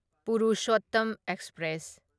Purushottam express